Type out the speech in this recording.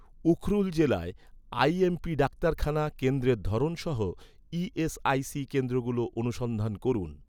উখরুল জেলায়, আইএমপি ডাক্তারখানা কেন্দ্রের ধরন সহ, ই.এস.আই.সি কেন্দ্রগুলো অনুসন্ধান করুন